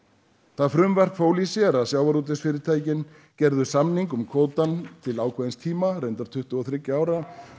það frumvarp fól í sér að í sjávarútvegsfyrirtæki gerði samning um kvóta til ákveðins tíma tuttugu og þriggja ára